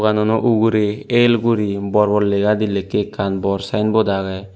duanano ugurey el guri bor bor legadi lekkey ekkan bor saenbot agey.